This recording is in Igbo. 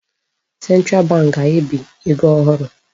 Central bank ga-ebi ego ohụrụ.